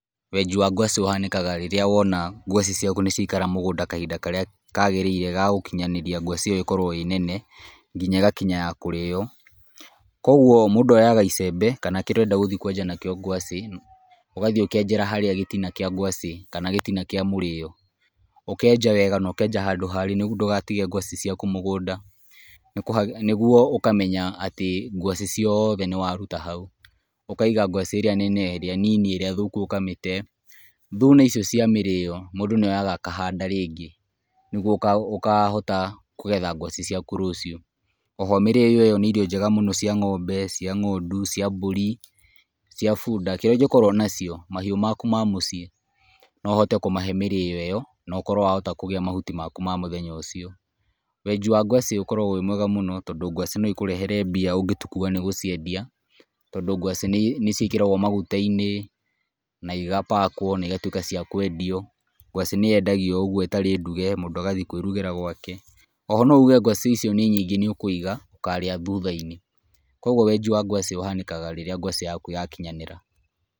Wenji wa ngwacĩ ũhanĩkaga rĩrĩa wona ngwacĩ ciaku nĩ ciaikara mũgũnda kahinda karĩa kagĩrĩire ga gũkinyanĩria ngwaci ĩyo ĩkorwo ĩ nene, nginya ĩgakinya ya kũrĩo, koguo mũndũ oyaga icembe kana kĩrĩa ũrenda gũthiĩ kwenja nakĩo ngwacĩ, ũgathiĩ ũkenjera harĩa gĩtina kĩa ngwaci kana gĩtina kĩa mũrĩo, ũkenja wega na ũkenja handũ harĩ nĩguo ndũgatige ngwacĩ ciaku mũgũnda, nĩguo ũkamenya atĩ ngwacĩ ciothe nĩ waruta hau. Ũkaiga ngwacĩ ĩrĩa nene, ĩrĩa nini, ĩrĩa thũku ũkamĩte, thuna icio cia mĩrĩo, mũndũ nĩ oyaga akanda rĩngĩ, nĩguo ũka ũkahota kũgetha ngwacĩ ciaku rũcio, oho mĩrĩo ĩyo nĩ irio njega mũno cia ng'ombe, cia ng'ondu, cia mbũri, cia bunda, kĩrĩa ũngĩkorwo nacio mahiũ maku ma mũciĩ no ũhote kũmahe mĩrĩo ĩyo, na ũkorwo wahota kũgĩa mhuti maku ma mũthenya ũcio. Wenji wa ngwacĩ ũkoragwo wĩ mwega mũno tondũ ngwacĩ no ikũrehere mbia ũngĩtua nĩ gũciendia, tondũ ngwaci nĩ ciĩkĩragwo magutainĩ na igapakwo na igatuĩka cia kwendio, ngwacĩ nĩ yendagio o ũguo ĩtarĩ nduge mũndũ agathiĩ kwĩrugĩra gwake, oho no uge ngwacĩ icio nĩ nyingĩ nĩ ũkũiga ũkarĩa thutha-inĩ, koguo wenji wa ngwacĩ ũhanĩkaga rĩrĩa ngwacĩ yaku yakinyanĩra.